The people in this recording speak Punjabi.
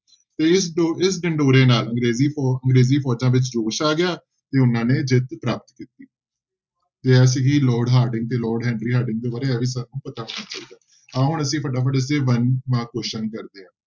ਤੇ ਇਸ ਢਿਡੋਰੇ ਨਾਲ ਅੰਗਰੇਜ਼ੀ ਫੋ~ ਅੰਗਰੇਜ਼ੀ ਫੋਜ਼ਾਂ ਵਿੱਚ ਜੋਸ਼ ਆ ਗਿਆ ਤੇ ਉਹਨਾਂ ਨੇ ਜਿੱਤ ਪ੍ਰਾਪਤ ਕੀਤੀ ਤੇ ਇਹ ਸੀਗੀ ਲਾਰਡ ਹਾਰਡਿੰਗ ਤੇ ਲਾਰਡ ਹੈਨਰੀ ਹਾਰਡਿੰਗ ਦੇ ਬਾਰੇ ਪਤਾ ਹੋਣਾ ਚਾਹੀਦਾ, ਆਹ ਹੁਣ ਅਸੀਂ ਫਟਾਫਟ ਅਸੀਂ one mark question ਕਰਦੇ ਹਾਂ।